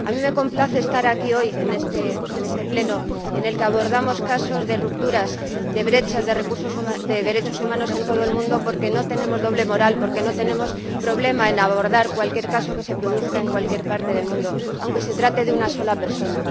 Me complace estar aquí, hoy, en este Pleno en el que abordamos casos de rupturas, de brechas de derechos humanos en todo el mundo, porque no tenemos doble moral, porque no tenemos problema en abordar cualquier caso que se produzca en cualquier parte del mundo, aunque se trate de una sola persona.